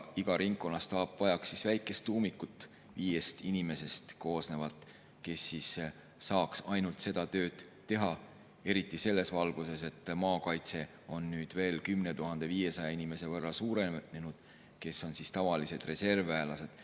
Iga ringkonna staap vajaks väikest viiest inimest koosnevat tuumikut, kes saaks ainult seda tööd teha, eriti selles valguses, et maakaitse on nüüd veel suurenenud 10 500 inimese võrra, kes on tavalised reservväelased.